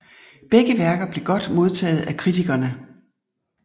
Begge værker blev godt modtaget af kritikerne